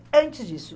antes disso